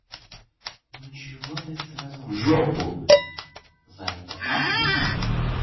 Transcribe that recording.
ну чего ты сразу в жопу зайка